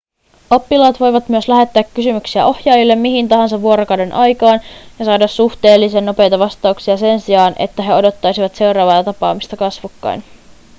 oppilaat voivat myös lähettää kysymyksiä ohjaajille mihin tahansa vuorokauden aikaan ja saada suhteellisen nopeita vastauksia sen sijaan että he odottaisivat seuraavaa tapaamista kasvokkain